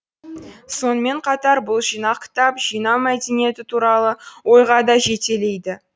сонымен қатар бұл жинақ кітап жинау мәдениеті туралы ойға да жетелейді